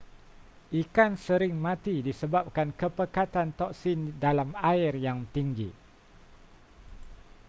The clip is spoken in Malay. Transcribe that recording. ikan sering mati disebabkan kepekatan toksin dalam air yang tinggi